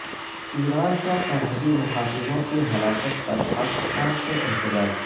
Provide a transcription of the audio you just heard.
ایران کا سرحدی محافظوں کی ہلاکت پر پاکستان سے احتجاج